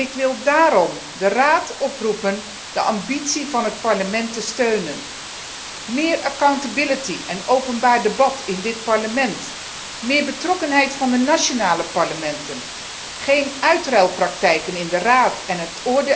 Ik wil daarom de Raad oproepen de ambitie van het Parlement te steunen, meer accountability en openbaar debat in dit Parlement, meer betrokkenheid van de nationale parlementen, geen uitruilpraktijken in de Raad